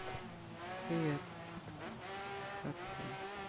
привет как ты